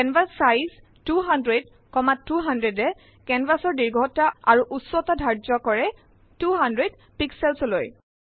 canvas size 200200এ কেনভাচ ৰ দীৰ্ঘ্যতা আৰু উচ্চতা ঢাৰ্য্য কৰে 200 pixelsলৈ